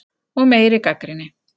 Og meiri gagnrýni.